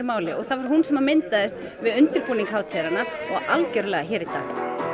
máli og það var hún sem myndaðist við undirbúning hátíðarinnar og algjörlega hér í dag